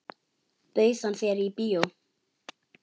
Bauð hann þér í bíó?